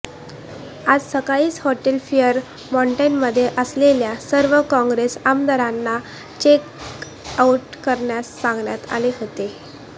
आज सकाळीच hotel fair मॉन्टमध्ये असलेल्या सर्व काँग्रेस आमदारांना चेक आउट करण्यास सांगण्यात आले होते